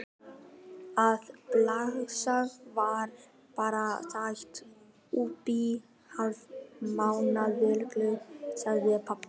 Það slagar bara hátt uppí hálf mánaðarlaun, sagði pabbi.